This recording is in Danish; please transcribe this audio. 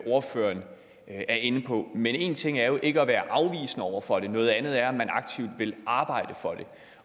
ordføreren er inde på men en ting er jo ikke at være afvisende over for det noget andet er om man aktivt vil arbejde for det